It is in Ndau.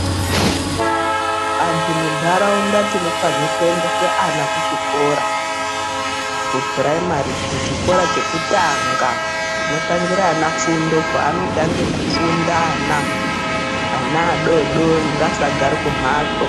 Antu munharaunda tinofanire kuendesa ana kuchikora kupuraimari, kuchikora chekutanga, kunotangira ana fundo. Kwaanotange kufunda ana. Ana adoodori ngaasagare kumhatso.